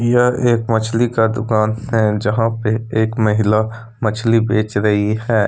यह एक मछली का दुकान है जहां पे एक महिला मछली बेच रही है।